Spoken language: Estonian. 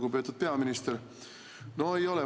Lugupeetud peaminister!